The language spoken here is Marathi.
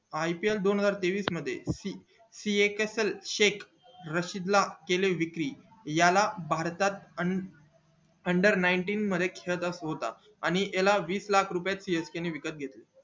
ipl दोन हजार तेवीस मध्ये याला भारतात under मध्ये आणि याला वीस लाख रुपये मध्ये csk ने विकत घेतला